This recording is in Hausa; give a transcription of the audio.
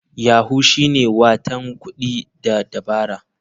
Yahoo shine watan kuɗi da dabara..